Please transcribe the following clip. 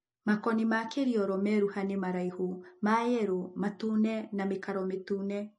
Makoni ma Kiriolo meruha nĩ maraihu mayelo ns matune na mĩkaro mĩtune.